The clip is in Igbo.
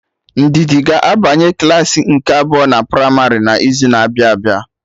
Ndidi ga-abanye klaasị nke abụọ na primarị na izu na-abịa abịa